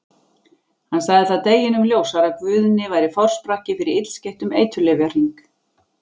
Hann sagði það deginum ljósara að Guðni væri forsprakki fyrir illskeyttum eiturlyfjahring.